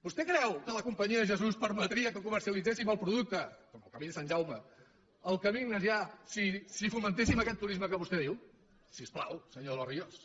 vostè creu que la companyia de jesús permetria que comercialitzéssim el producte com el camí de sant jaume el camí ignasià si fomentéssim aquest turisme que vostè diu si us plau senyor de los ríos